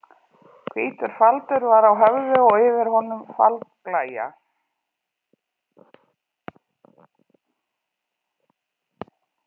Hvítur faldur var á höfði og yfir honum faldblæja.